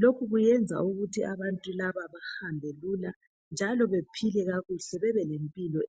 lokhu kuyenza ukuthi abantu laba bahambe Lula njalo bephile kakuhle bebe lempilo